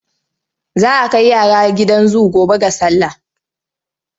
Za a kai yara gidan zu gobe ga sallah.